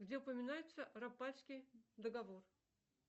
где упоминается рапальский договор